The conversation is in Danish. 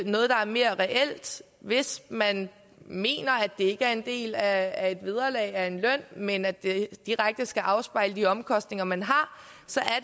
noget der er mere reelt hvis man mener at det ikke er en del af et vederlag af en løn men at det direkte skal afspejle de omkostninger man har